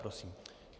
Prosím.